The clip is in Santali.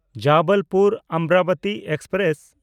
ᱡᱚᱵᱚᱞᱯᱩᱨ–ᱚᱢᱨᱟᱵᱚᱛᱤ ᱮᱠᱥᱯᱨᱮᱥ